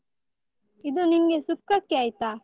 ಇದು ನಿನ್ಗೆ ಸುಕ್ಕಕ್ಕೆ ಆಯ್ತಾ.